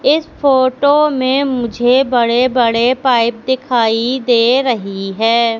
इस फोटो में मुझे बड़े बड़े पाइप दिखाई दे रही है।